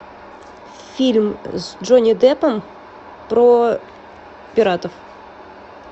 фильм с джонни деппом про пиратов